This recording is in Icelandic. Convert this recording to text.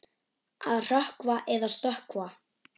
Á að hrökkva eða stökkva?